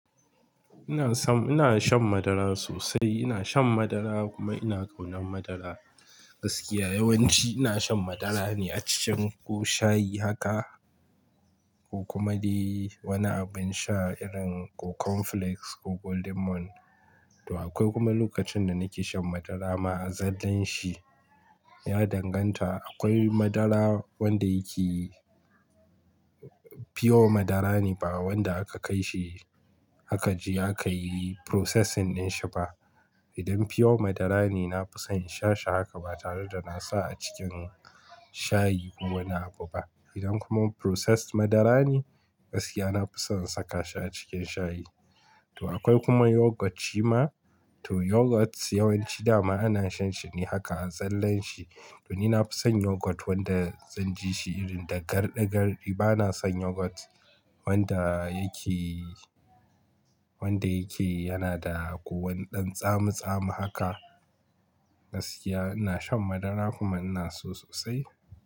Ina san-- ina shan madara sosai. Ina shan madara kuma ina ƙaunan madara. Gaskiya yawanci ina shan madara ne a cikin ko shayi haka ko kuma dai wani abin sha irin ko cornflakes ko Golden morn. To akwai kuma lokacin da nake shan madara ma a zallan shi. Ya danganta. Akwai madara wanda yake pure madara ne ba wanda aka kai shi aka je aka yi processing din shi ba. Idan pure madara ne, na fi son in sha shi haka ba tare da nasa a cikin shayi ko wani abu ba. Idan kuma processed madara ne, gaskiya na fi son saka shi a cikin shayi. To akwai kuma yoghurt shi ma. To yoghurt yawanci dama ana shan shi ne haka a zallan shi. To ni na fi son yoghurt wanda zan ji shi irin da garɗi garɗi. Ba na son yoghurt wanda yake, wanda yake yana da ko wana dan tsami tsami haka. Gaskiya ina shan madara kuma ina so sosai.